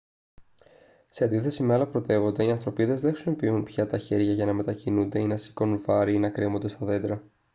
σε αντίθεση με άλλα πρωτεύοντα οι ανθρωπίδες δεν χρησιμοποιούν πια τα χέρια για να μετακινούνται ή να σηκώνουν βάρη ή να κρέμονται στα δέντρα